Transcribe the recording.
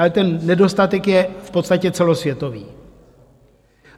Ale ten nedostatek je v podstatě celosvětový.